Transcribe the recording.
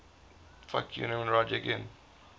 colesberg